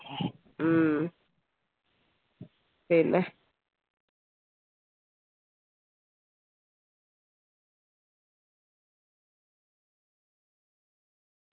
ഹും പിന്നെ